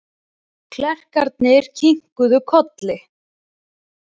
Klerkarnir kinkuðu kolli.